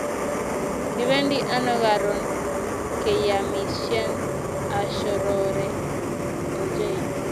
Kipendi ano karun keyamishen ashorore ochei